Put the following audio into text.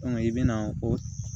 i bɛna o